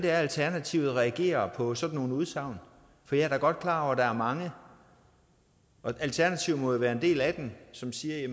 alternativet reagerer på sådan nogle udsagn jeg er da godt klar over at der er mange og alternativet må jo være en del af dem som siger at